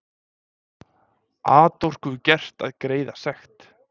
Atorku gert að greiða sekt